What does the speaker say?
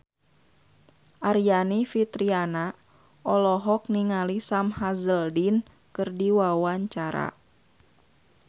Aryani Fitriana olohok ningali Sam Hazeldine keur diwawancara